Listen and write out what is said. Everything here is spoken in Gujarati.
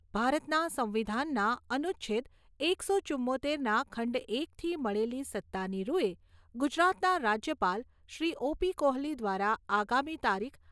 ભારતના સંવિધાનના અનુચ્છેદ એકસો ચુંમોતેરના ખંડ એકથી મળેલી સત્તાની રૂએ ગુજરાતના રાજ્યપાલશ્રી ઓ.પી. કોહલી દ્વારા આગામી તારીખ